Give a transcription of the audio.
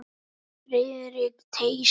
Friðrik treysti honum ekki.